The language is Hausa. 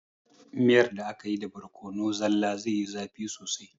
Miyar da akayi da borkono zalla zaiyi zafi sosai